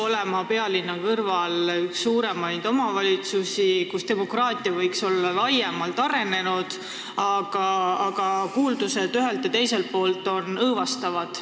See on pealinna kõrval asuv üks suuremaid omavalitsusi, kus demokraatia võiks olla hästi arenenud, aga kuuldused ühelt ja teiselt poolt on õõvastavad.